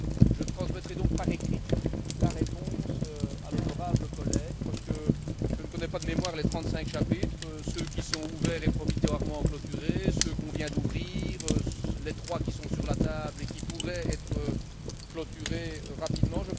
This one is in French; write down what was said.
Je transmettrai donc par écrit la réponse à l'honorable collègue, parce que je ne connais pas de mémoire les trente cinq chapitres ceux qui sont ouverts et provisoirement clôturés, ceux que l'on vient d'ouvrir, les trois chapitres qui sont sur la table et qui pourraient être clôturés rapidement.